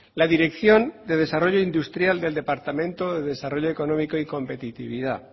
la dirección del desarrollo industrial del departamento de desarrollo económico y competitividad